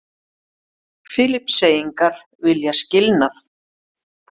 Filippseyingar vilja skilnað